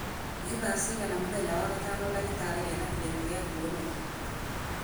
nĩ thaa cigana mũthenya wa gatano ndagĩtarĩ ena kĩrĩko gĩa kũonwo